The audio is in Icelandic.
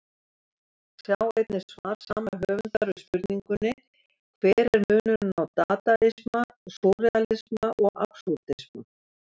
Sjá einnig svar sama höfundar við spurningunni Hver er munurinn á dadaisma, súrrealisma og absúrdisma?